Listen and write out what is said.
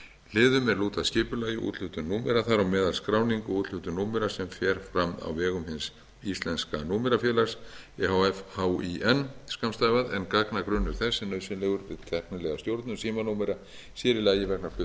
hliðum er lúta að skipulagi o úthlutun númera þar á meðal skráning og úthlutun númera sem fer fram á vegum hins íslenska númerafélags e h f hín en gagnagrunnur þess er nauðsynlegur við tæknilega stjórnun símanúmera sér í lagi vegna